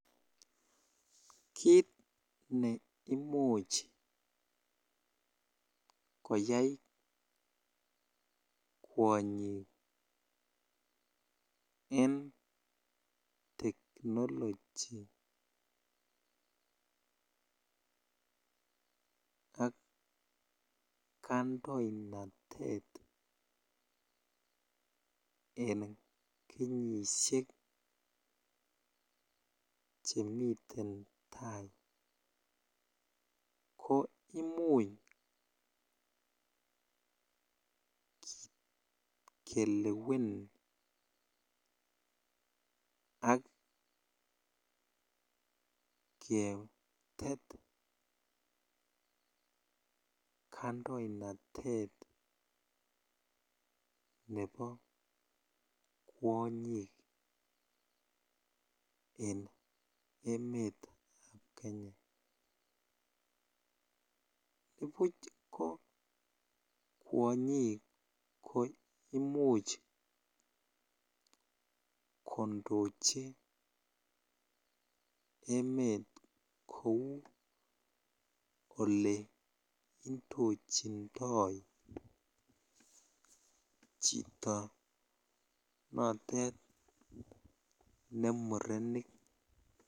Kiit neimuch koyai kwonyik en technology ak kandoinatet en kenyishek chemiten taai ko imuch kelewen ak ketet kndoinatet nebo kwonyik en emetab Kenya, nibuch ko kwonyik ko imuch kondochi emet kouu olee indochindoi chito notet ne murenik.